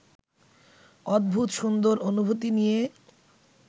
অদ্ভুত সুন্দর অনুভূতি নিয়ে